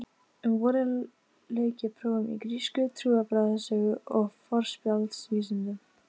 Um vorið lauk ég prófum í grísku, trúarbragðasögu og forspjallsvísindum.